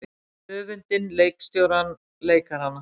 Höfundinn leikstjórann leikarana?